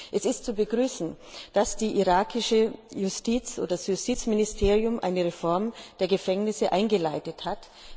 Es ist zu begrüßen, dass das irakische Justizministerium eine Reform der Gefängnisse eingeleitet hat.